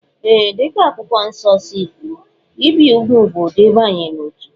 Ee, dị ka Akwụkwọ Nsọ si kwuo, ibi úgwù bụ ụdị mbanye n'otu